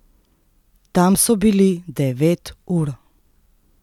Tam so bili devet ur!